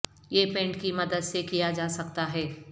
یہ پینٹ کی مدد سے کیا جا سکتا ہے